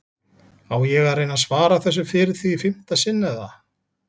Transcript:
Á ég að reyna að svara þessu fyrir þig í fimmta sinn eða?